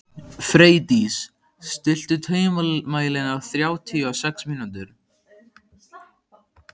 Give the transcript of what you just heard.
Freydís, stilltu tímamælinn á þrjátíu og sex mínútur.